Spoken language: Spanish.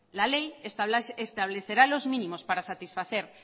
la ley establecerá los mínimos para satisfacer